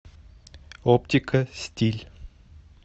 оптика стиль